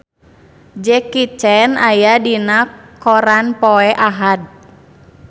Jackie Chan aya dina koran poe Ahad